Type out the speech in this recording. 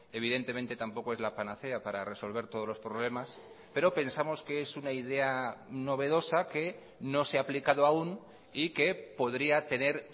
evidentemente tampoco es la panacea para resolver todos los problemas pero pensamos que es una idea novedosa que no se ha aplicado aún y que podría tener